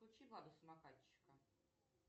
включи влада самокатчика